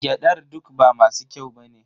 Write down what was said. Gyadar duk ba masu kyau ba ne.